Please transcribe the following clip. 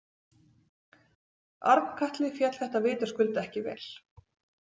Arnkatli féll þetta vitaskuld ekki vel.